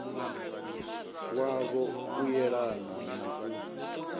wavho u yelanaho na u